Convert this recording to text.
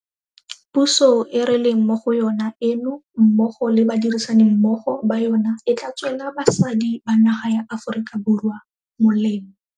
Puso e re leng mo go yona eno mmogo le badirisanimmogo ba yona e tla tswela basadi ba naga ya Aforika Borwa molemo.